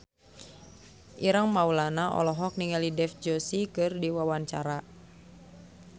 Ireng Maulana olohok ningali Dev Joshi keur diwawancara